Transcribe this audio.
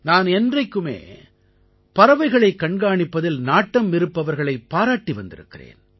நான் என்றைக்குமே பறவைகளைக் கண்காணிப்பதில் நாட்டம் இருப்பவர்களைப் பாராட்டி வந்திருக்கிறேன்